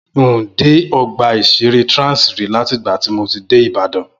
N ò dé ọgbà ìṣeré Trans rí láti ìgbà tí mo ti dé Ìbàdàn